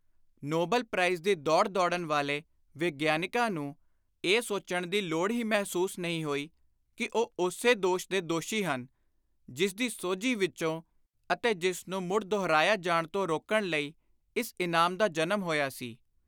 Nobel prize ਦੀ ਦੌੜ ਦੌੜਨ ਵਾਲੇ ਵਿਗਿਆਨਕਾਂ ਨੂੰ ਇਹ ਸੋਚਣ ਦੀ ਲੋੜ ਹੀ ਮਹਿਸੂਸ ਨਹੀਂ ਹੋਈ ਕਿ ਉਹ ਉਸੇ ਦੋਸ਼ ਦੇ ਦੋਸ਼ੀ ਹਨ, ਜਿਸਦੀ ਸੋਝੀ ਵਿਚੋਂ ਅਤੇ ਜਿਸ ਨੂੰ ਮੁੜ ਦੁਹਰਾਇਆ ਜਾਣ ਤੋਂ ਰੋਕਣ ਲਈ ਇਸ ਇਨਾਮ ਦਾ ਜਨਮ ਹੋਇਆ ਸੀ।